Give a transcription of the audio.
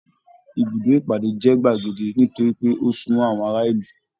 Ibùdó ìpàdé jẹ gbagedé nitori pé o sunmọ àwọn ará ìlú.